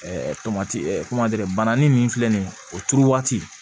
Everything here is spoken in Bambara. tomati bananin min filɛ nin ye o turu waati